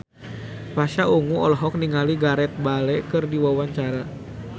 Pasha Ungu olohok ningali Gareth Bale keur diwawancara